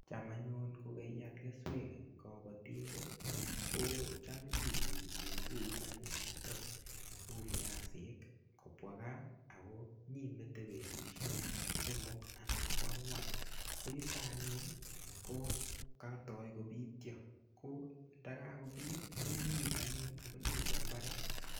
Cham anyun kokeale keswek eng kobotindet ko cham ibu kitunguik anyun chuto u viasik kobwa kaa ako nyimete betushek somok anan ko angwan ko yuto anyun ko katoi kobitio ko ndakakobitio inyiip anyun akinyinde mbaret.